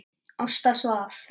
Ásta svaf.